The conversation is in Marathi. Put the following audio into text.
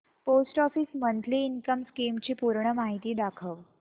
post office monthly income scheme ची पूर्ण माहिती दाखव